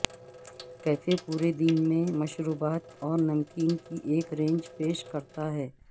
cafe پورے دن میں مشروبات اور نمکین کی ایک رینج پیش کرتا ہے